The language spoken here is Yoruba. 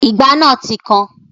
Ìgbá náà ti kan